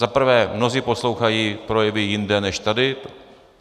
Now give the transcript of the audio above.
Za prvé, mnozí poslouchají projevy jinde než tady.